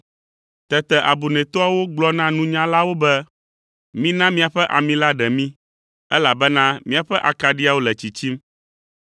Tete abunɛtɔawo gblɔ na nunyalawo be, ‘Mina miaƒe ami la ƒe ɖe mí, elabena míaƒe akaɖiawo le tsitsim.’